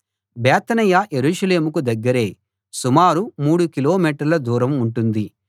బేతనియ యెరూషలేముకు దగ్గరే సుమారు మూడు కిలోమీటర్ల దూరం ఉంటుంది